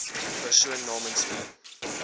persoon namens wie